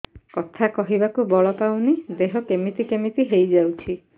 କଥା କହିବାକୁ ବଳ ପାଉନି ଦେହ କେମିତି କେମିତି ହେଇଯାଉଛି